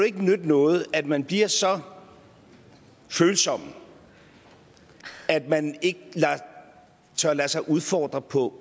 ikke nytte noget at man bliver så følsom at man ikke tør lade sig udfordre på